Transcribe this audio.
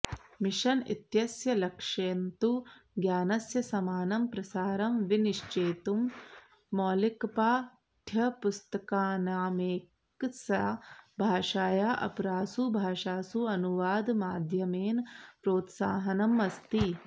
mission इत्यस्य लक्ष्यन्तु ज्ञानस्य समानं प्रसारं विनिश्चेतुं मौलिकपाठ्यपुस्तकानामेकस्याः भाषायाः अपरासु भाषासु अनुवादमाध्यमेन प्रोत्साहनमस्ति